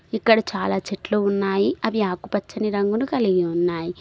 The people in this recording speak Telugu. ఇక్కడ చాలా చెట్లు ఉన్నాయి అవి ఆకుపచ్చని రంగును కలిగి ఉన్నాయి.